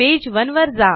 page one वर जा